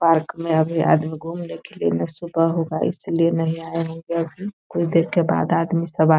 park में अभी आदमी घूमने के लिए कुछ देर में कुछ सब आदमी आ --